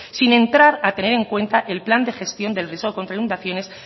sin entrar a tener en cuenta el plan de gestión del riesgo contra inundaciones